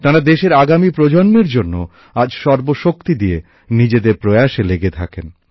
তাঁরা দেশের আগামী প্রজন্মের জন্য আজ সর্বশক্তি দিয়ে নিজেদের প্রয়াসে লেগে থাকেন